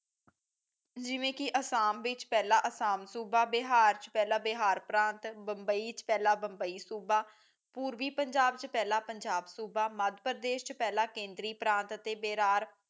ਜਿਵੇਂ ਕਿ ਅਸਾਮ ਵਿਚ ਪਹਿਲਾ ਅਸਾਮ ਸੂਬਾ ਬਿਹਾਰ ਚ ਪਹਿਲਾ ਬਿਹਾਰ ਪ੍ਰਾਂਤ ਮੁੰਬਈ ਚ ਪਹਿਲਾ ਮੁੰਬਈ ਸੂਬਾ ਪੂਰਵੀ ਪੰਜਾਬ ਚ ਪਹਿਲਾ ਪੰਜਾਬ ਸੂਬਾ ਮਧ੍ਯ ਪ੍ਰਦੇਸ਼ ਚ ਪਹਿਲਾਂ ਕੇਂਦਰੀ ਪ੍ਰਾਤ ਅਤੇ ਬੇਰਾਰ